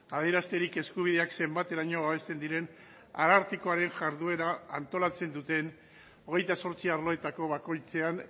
adierazterik eskubideak zenbateraino babesten diren arartekoaren jarduera antolatzen duten hogeita zortzi arloetako bakoitzean